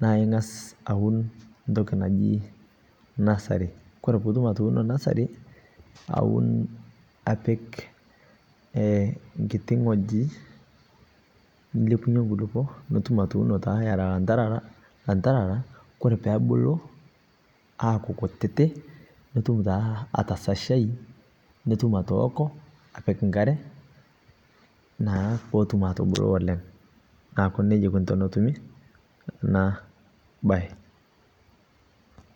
naa ingaas auun ntooki najii nursery kore puutum atuuno nursery auun apiiki ee nkiiti ng'oji. Niilepunye nkuluupo piitum atuuno ataa ieta antarara, antarara kore pee abuluu ara nkuutiti nituum taa atashashai nituum atooko apiik nkaare naa pootum atubuluu oleng. Naaku nejaa eikonii tonotumii kuna baye.